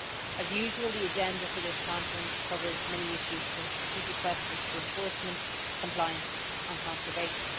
As usual, the agenda for this conference covers many issues, from strategic questions to enforcement, compliance and conservation.